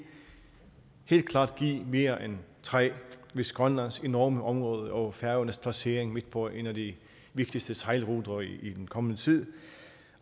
helt klart give mere end tre hvis grønlands enorme område og færøernes placering midt på en af de vigtigste sejlruter i den kommende tid